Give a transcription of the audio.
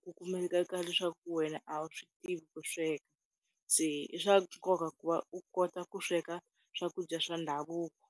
ku kumeka leswaku wena a wu swi tivi ku sweka, se i swa nkoka ku va u kota ku sweka swakudya swa ndhavuko.